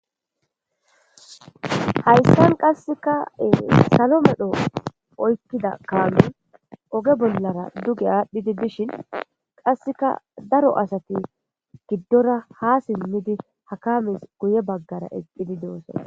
hayssan qassekae salo medho oykkida kaamu oge bollara duge aadhdhidi bishin qasseka daro asati giddora ha simmidi hakames guye baggara eqqidi doose